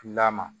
Lama